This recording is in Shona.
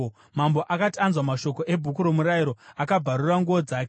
Mambo akati anzwa mashoko eBhuku roMurayiro, akabvarura nguo dzake.